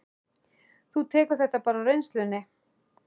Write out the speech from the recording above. Þú tekur þetta bara á reynslunni?